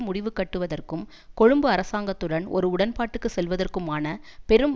முடிவு கட்டுவதற்கும் கொழும்பு அரசாங்கத்துடன் ஒரு உடன்பாட்டுக்கு செல்வதற்குமான பெரும்